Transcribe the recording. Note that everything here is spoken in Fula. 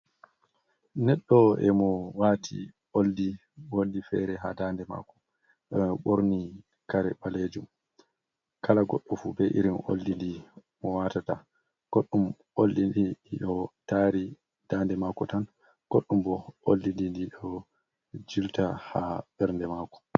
Neɗɗo emo wati oldi fere goldin ha dande mako e borni kare ɓalejum kala goɗɗo fu be irin oldi ndi mo watata goɗɗum oldi dii do taari dande mako tan, goɗɗum bo oldi ɗi ndi ɗo jilta ha ɓernde mako.